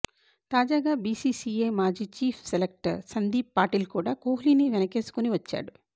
తాజాగా బిసిసిఐ మాజీ chief selector Sandeep Patil కూడా కోహ్లిని వెనుకేసుకుని వచ్చాడు